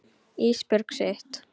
Ísbjörg sitt.